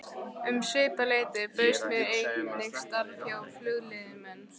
Um svipað leyti bauðst mér einnig starf hjá Flugleiðum en